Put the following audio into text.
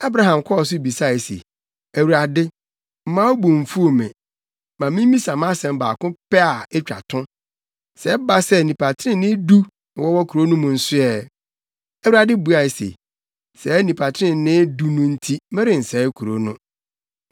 Abraham kɔɔ so bisae se, “ Awurade, mma wo bo mfuw me; ma mimmisa mʼasɛm baako pɛ a etwa to. Sɛ ɛba sɛ, nnipa trenee du na wɔwɔ kurow no mu nso ɛ?” Awurade buae se, “Saa nnipa trenee du no nti, merensɛe kurow no.”